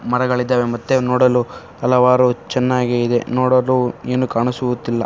ಮರಗಳಿದ್ದಾವೆ ಮತ್ತೆ ನೋಡಲು ಹಲವಾರು ಚೆನ್ನಾಗಿ ಇದೆ. ನೋಡಲು ಏನು ಕಾಣಿಸುತ್ತಿಲ್ಲ.